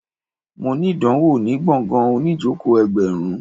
Mo ní ìdánwò ní gbọ̀ngàn oníìjòkó ẹgbẹ̀rún